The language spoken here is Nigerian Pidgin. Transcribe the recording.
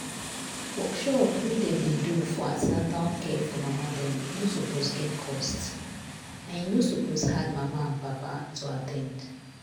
workshop wey dem dey do for an ten atal care for mama dem no suppose get cost and e no suppose hard mama and papa to at ten d.